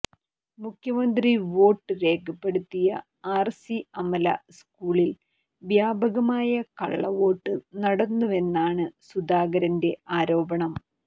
മുഖ്യമന്ത്രി വോട്ട് രേഖപ്പെടുത്തിയ ആർസി അമല സ്കൂളിൽ വ്യാപകമായ കള്ളവോട്ട് നടന്നുവെന്നാണ് സുധാകരന്റെ ആരോപണം